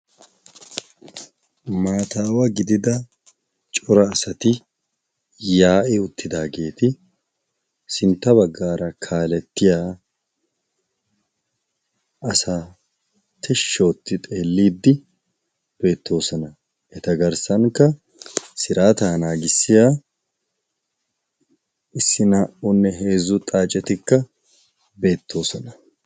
Maataawa gidida cora asati yaa'i uttidaageeti sintta baggaara kaalettiya asati shshootti xeelliiddi beettoosona. eta garssankka siraataa naagissiya issi naa"unne heezzu xaacetikka beettoosona.